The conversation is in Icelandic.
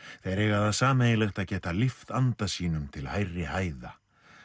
þeir eiga það sameiginlegt að geta lyft anda sínum til hærri hæða